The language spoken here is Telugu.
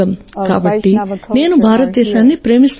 కాబట్టి నేను భారతదేశాన్ని ప్రేమిస్తున్నాను